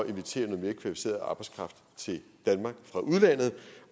invitere noget mere kvalificeret arbejdskraft til danmark fra udlandet